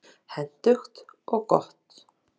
Fleiri úrslit má nálgast hér